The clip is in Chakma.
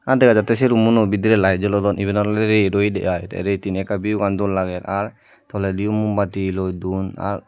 a dega jatte se roomuno bidire light jolodon iban olode ret oyede ai te ret hine ekka view bo dol lager ar tolediyo mombatti loi don ar.